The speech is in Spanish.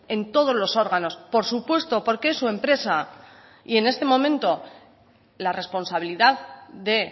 en todos los órganos por supuesto porque es su empresa y en este momento la responsabilidad de